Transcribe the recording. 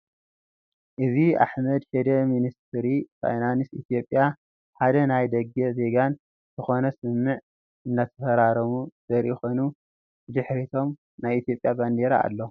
እዚ አሕመድ ሽዴ ሚኒስትሪ ፋይናንስ ኢትዮጵያን ሓደ ናይ ደገ ዜጋን ዝኮነ ስምምዕ እንዳተፈራረሙ ዘርኢ ኮይኑ ብድሕሪቶም ናይ ኢትዮጵያ ባንዴራ አሎ፡፡